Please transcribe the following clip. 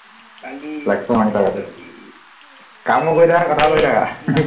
কামো কৰি থাকা কথাও কৈ থাকা